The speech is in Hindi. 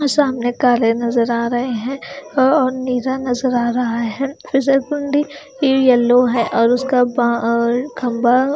सामने काले नज़र आ रहे है और नीला नज़र आ रहा है फिसलगुंडी यल्लो है और उसका खंबा --